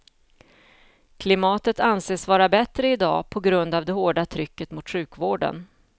Klimatet anses vara bättre idag på grund av det hårda trycket mot sjukvården.